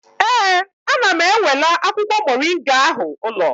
Ee, ana m enwela akwụkwọ moringa ahụ ụlọ